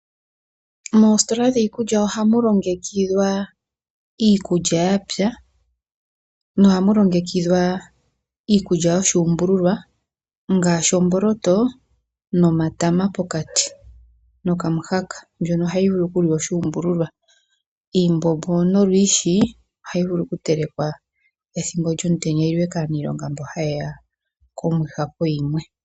Moositola dhiikulya ohamu longekidhwa iikulya yapya, nohamu longekidhwa iikulya yo shuumbululwa ngaashi omboloto nomatama pokati nokamuhaka mbyono ohayi vulu okuliwa oshuumbululwa. Iimbombo nolwiishi ohayi vulu oku telekwa ethimbo lyomutenya yiliwe kaaniilonga mbo ha yeya komwiha poyimwe.